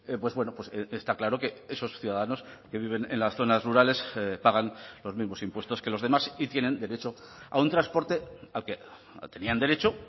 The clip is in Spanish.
pues bueno está claro que esos ciudadanos que viven en las zonas rurales pagan los mismos impuestos que los demás y tienen derecho a un transporte al que tenían derecho